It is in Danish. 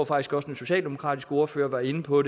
faktisk også den socialdemokratiske ordfører var inde på